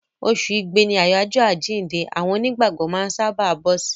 Oṣù Igbe ni àjọyọ̀ àjíǹde àwọn Onígbàgbọ́ máa ń sábàá bọ́ sí.